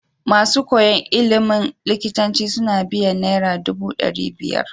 Masu koyan ilimin likitanci suna biyan naira dubu dari biyar